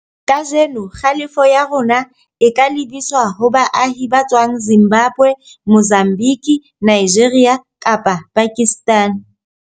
Kajeno, kgalefo ya rona o ka lebiswa ho baahi ba tswang Zimbabwe, Mozambique, Nigeria kapa Pakistan.